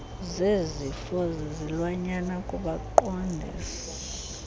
zezifo zezilwanyana kubaqondisi